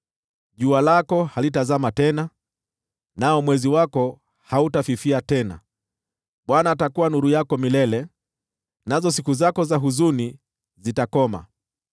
Jua lako halitazama tena, nao mwezi wako hautafifia tena; Bwana atakuwa nuru yako milele, nazo siku zako za huzuni zitakoma.